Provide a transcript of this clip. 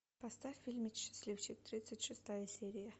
поставь фильм счастливчик тридцать шестая серия